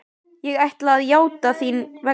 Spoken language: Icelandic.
Ég ætla að játa þín vegna.